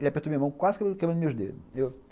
Ele apertou a minha mão, quase quebrou os meus dedos.